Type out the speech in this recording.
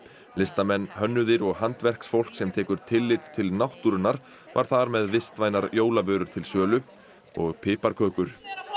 listamenn hönnuðir og handverksfólk sem tekur tillit til náttúrunnar var þar með vistvænar jólavörur til sölu og piparkökur